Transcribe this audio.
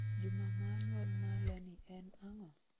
Juma ma nyuol ma lenny en ang'o?